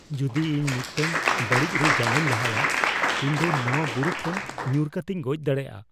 ᱡᱩᱫᱤ ᱤᱧ ᱢᱤᱫᱴᱟᱝ ᱵᱟᱹᱲᱤᱡ ᱨᱮ ᱡᱟᱸᱜᱟᱧ ᱞᱟᱦᱟᱭᱟ, ᱤᱧ ᱫᱚ ᱱᱚᱶᱟ ᱵᱩᱨᱩ ᱠᱷᱚᱱ ᱧᱩᱨ ᱠᱟᱛᱮᱧ ᱜᱚᱡ ᱫᱟᱲᱮᱭᱟᱜᱼᱟ ᱾